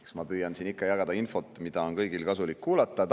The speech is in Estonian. Eks ma püüan siin ikka jagada infot, mida on kõigil kasulik kuulata.